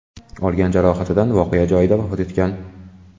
olgan jarohatidan voqea joyida vafot etgan.